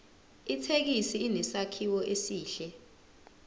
ithekisi inesakhiwo esihle